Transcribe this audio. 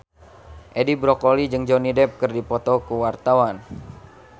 Edi Brokoli jeung Johnny Depp keur dipoto ku wartawan